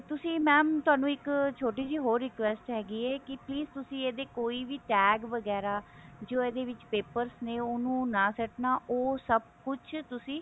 ਤੁਸੀਂ mam ਤੁਹਾਨੂੰ ਇੱਕ ਛੋਟੀ ਜੀ ਹਰੋ request ਹੈਗੀ ਹੈ ਕੀ please ਤੁਸੀਂ ਇਹਦੇ ਕੋਈ ਵੀ tag ਵਗੇਰਾ ਜੋ ਇਹਦੇ ਵਿੱਚ paper ਨੇ ਉਹਨੂੰ ਨਾ ਸੁੱਟਣਾ ਉਹ ਸਭ ਕੁਛ ਤੁਸੀਂ